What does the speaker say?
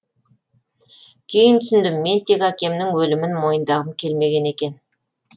кейін түсіндім мен тек әкемнің өлімін мойындағым келмеген екен